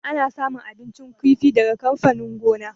Ana samun abincin kifi daga amfanin gona.